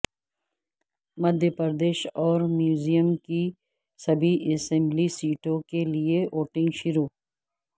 مدھیہ پردیش اور میزورم کی سبھی اسمبلی سیٹوں کے لیے ووٹنگ شروع